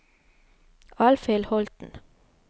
Alfhild Holten